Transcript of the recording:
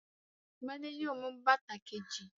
Gbadé yóò mú bàtà kejì.